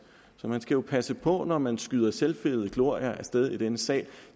så man skal jo passe på når man skyder selvfede glorier af sted i denne sag